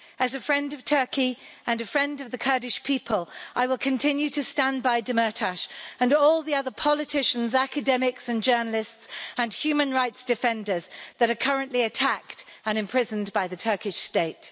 As a friend of Turkey and a friend of the Kurdish people, I will continue to stand by Demirtas and all the other politicians, academics and journalists and human rights defenders that are currently attacked and imprisoned by the Turkish State.